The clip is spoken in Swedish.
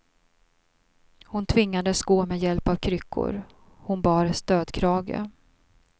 Hon tvingades gå med hjälp av kryckor, hon bar stödkrage.